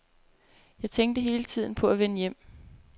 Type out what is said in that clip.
Jeg tænkte hele tiden på at vende hjem.